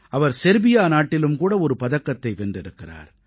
அவர் Serbia நாட்டிலும் கூட ஒரு பதக்கத்தை வென்றிருக்கிறார்